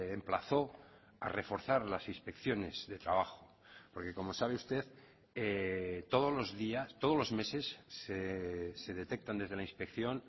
emplazó a reforzar las inspecciones de trabajo porque como sabe usted todos los días todos los meses se detectan desde la inspección